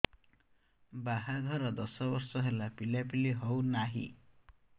ବାହାଘର ଦଶ ବର୍ଷ ହେଲା ପିଲାପିଲି ହଉନାହି